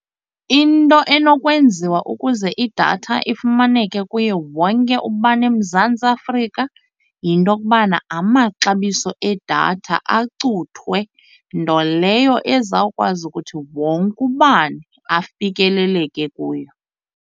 Into enokwenziwa ukuze idatha ifumaneke kuye wonke ubani eMzantsi Afrika yinto yokubana amaxabiso edatha acuthwe, nto leyo ezawukwazi ukuthi wonke ubani afikeleleke kuyo.